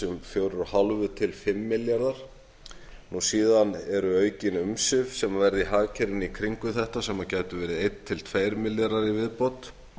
um fjögur og hálft til fimm milljarðar síðan eru aukin umsvif sem verða í hagkerfinu í kringum þetta sem gætu verið eitt til tveir milljarðar í viðbót